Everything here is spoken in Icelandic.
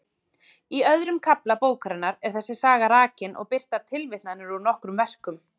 Í öðrum kafla bókarinnar er þessi saga rakin og birtar tilvitnanir úr nokkrum verkum.